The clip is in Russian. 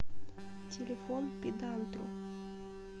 телефон педантру